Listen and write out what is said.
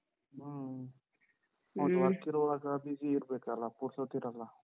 ಹ್ಮ work ಇರೋವಾಗ busy ಇರ್ಬೇಕಲ್ಲ, ಪುರ್ಸೊತ್ತ್ ಇರಲ್ಲ.